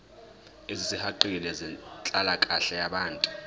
ezisihaqile zenhlalakahle yabantu